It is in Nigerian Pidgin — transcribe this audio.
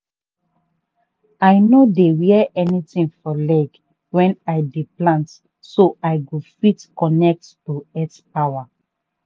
i no dey wear anything for leg when i dey plant so i go fit connect to earth power.